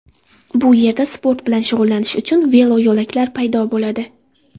Bu yerda sport bilan shug‘ullanish uchun veloyo‘laklar paydo bo‘ladi.